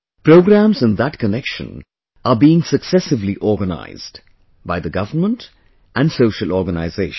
Programmes in that connection are being successively organized by the government and social organisations